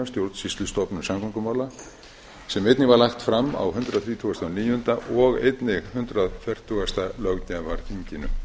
stjórnsýslustofnun samgöngumála sem einnig var lagt fram á hundrað þrítugasta og níunda og einnig hundrað fertugasta löggjafarþinginu